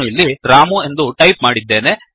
ನಾನು ಇಲ್ಲಿ ರಾಮು ಎಂದು ಟೈಪ್ ಮಾಡಿದ್ದೇನೆ